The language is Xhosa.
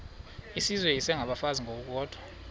izizwe isengabafazi ngokukodwa